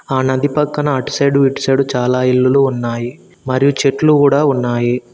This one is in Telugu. ఆ నది పక్కన అటు సైడ్ ఇటు సైడ్ చాలా ఇల్లులు ఉన్నాయి మరియు చెట్లు కూడా ఉన్నాయి.